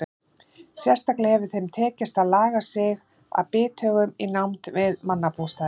Sérstaklega hefur þeim tekist að laga sig að bithögum í nánd við mannabústaði.